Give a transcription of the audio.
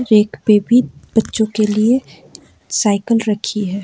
एक पे भी बच्चों के लिए साइकल रखी है।